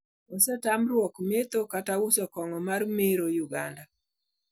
Osetamruok metho kata uso kongo mar mero Uganda